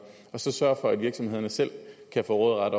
så sørge for at virksomhederne selv får råderet